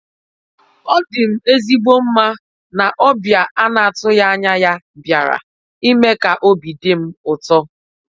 Ọ dị m ezigbo mma na ọbịa a na-atụghị anya bịara i mee ka obi dị m ụtọ